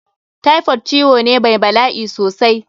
Typhoid ciwo ne mai bala'i sosai.